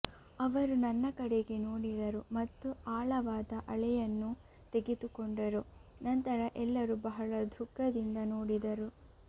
ಅವರು ನನ್ನ ಕಡೆಗೆ ನೋಡಿದರು ಮತ್ತು ಆಳವಾದ ಅಳೆಯನ್ನು ತೆಗೆದುಕೊಂಡರು ನಂತರ ಎಲ್ಲರೂ ಬಹಳ ದುಃಖದಿಂದ ನೋಡಿದರು